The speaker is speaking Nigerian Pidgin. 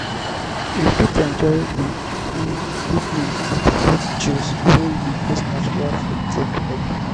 we fit enjoy di evening with fruit juice wey you use natural fruit take make